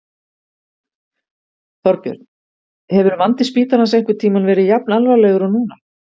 Þorbjörn: Hefur vandi spítalans einhvern tímann verið jafn alvarlegur og núna?